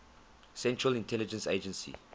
central intelligence agency